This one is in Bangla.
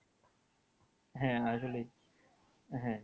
হ্যাঁ হ্যাঁ আসলেই হ্যাঁ